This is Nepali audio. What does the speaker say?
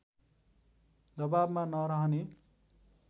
दवाबमा नरहने